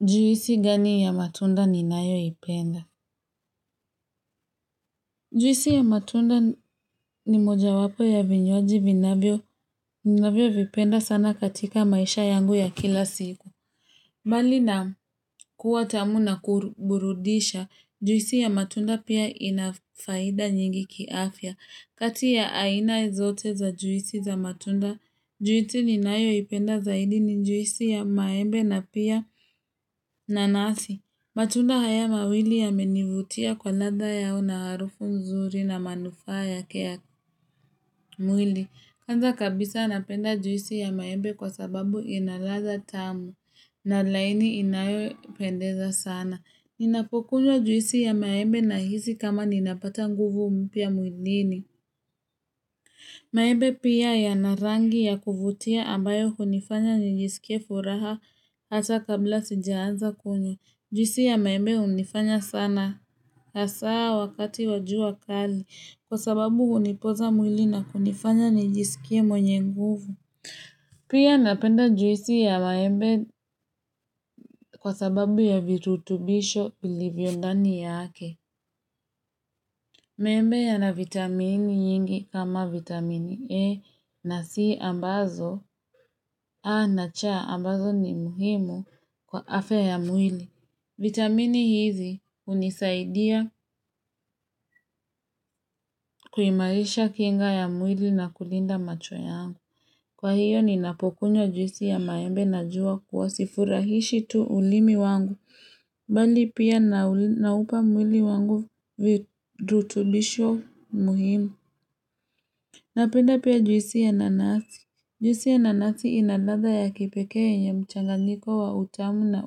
Juisi gani ya matunda ninayoipenda? Juisi ya matunda ni moja wapo ya vinywaji vinavyo, vinavyo vipenda sana katika maisha yangu ya kila siku. Mbali na kuwa tamu na kuburudisha, juisi ya matunda pia inafaida nyingi kiafya. Kati ya aina zote za juisi za matunda, juisi ni nayo ipenda zaidi ni juisi ya maembe na pia nanasi. Matunda haya mawili yamenivutia kwa latha yao na harufu mzuri na manufaa yake ya mwili. Kwanza kabisa napenda juisi ya maembe kwa sababu inaladha tamu na laini inayopendeza sana. Ninapokunywa juisi ya maembe na hisi kama ninapata nguvu mpya muilini. Maembe pia yana rangi ya kuvutia ambayo hunifanya njisikie furaha hata kabla sijaanza kunywa. Juisi ya maembe hunifanya sana hasaa wakati wajua kali kwa sababu hunipoza mwili na kunifanya nijisikie mwenye nguvu. Pia napenda juisi ya maembe kwa sababu ya virutubisho vilivyo ndani yake. Maembe ya na vitamini yingi kama vitamini E na C ambazo a na c ambazo ni muhimu kwa afya ya mwili. Vitamini hizi hunisaidia kuimarisha kinga ya mwili na kulinda macho yangu. Kwa hiyo ninapokunywa juisi ya maembe najua kuwa sifurahishi tu ulimi wangu. Bali pia naupa mwili wangu virutubisho muhimu. Napenda pia juisi ya nanasi. Juisi ya nanasi ina ladha ya kipekee yenye mchanganiko wa utamu na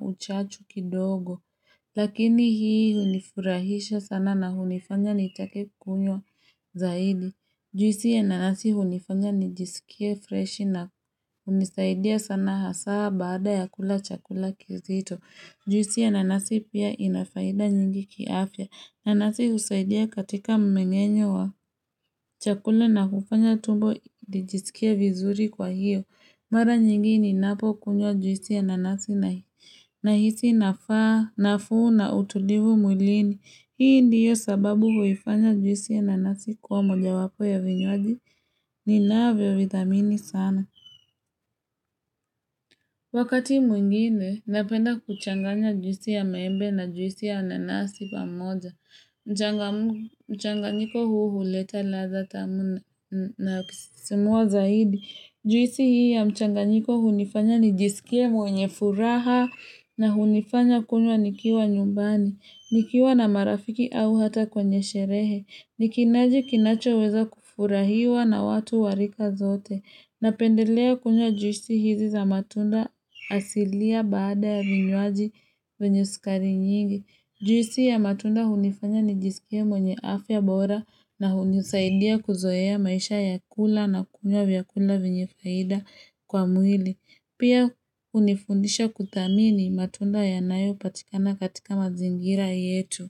uchachu kidogo. Lakini hii hunifurahisha sana na hunifanya nitake kukunywa zaidi. Juisi ya nanasi hunifanya nijisikie fresh na hunisaidia sana haswa baada ya kula chakula kizito. Juisi ya nanasi pia inafaida nyingi kiafya. Nanasi usaidia katika mmengenyo wa chakula na kufanya tumbo nijisikie vizuri kwa hiyo. Mara nyingi ninapo kunywa juisi ya nanasi nahisi nafaa, nafuu na utulivu mwilini. Hii ndiyo sababu huifanya juisi ya nanasi kuwa moja wapo ya vinywaji ninaavyo vithamini sana. Wakati mwingine, napenda kuchanganya juisi ya maembe na juisi ya nanasi pamoja. Mchanganyiko huu huleta ladhaa tamu na kusisimuwa zaidi. Juisi hii ya mchanganyiko hunifanya nijisikie mwenye furaha na hunifanya kunywa nikiwa nyumbani, nikiwa na marafiki au hata kwenye sherehe, nikinywaji kinachoweza kufurahiwa na watu warika zote, napendelea kunywa juisi hizi za matunda asilia baada ya vinwaji vyenye sukari nyingi. Juisi ya matunda hunifanya nijisikie mwenye afya bora na hunisaidia kuzoea maisha ya kula na kunywa vyakula vyenye faida kwa mwili. Pia hunifundisha kuthamini matunda yanayopatikana katika mazingira yetu.